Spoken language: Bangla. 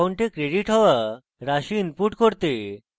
অ্যাকাউন্টে credited হওয়া রাশি input করতে